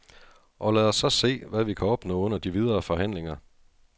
Og lad os så se, hvad vi kan opnå under de videre forhandlinger.